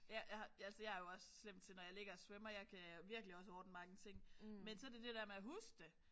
Ja jeg har jeg er jo også slem til når jeg ligger og svømmer jeg kan virkelig også ordne mange ting. Men så er det det der med at huske det!